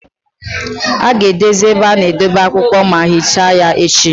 A ga-ahazi ebe a na-edebe akwụkwọ ma hichaa ya echi.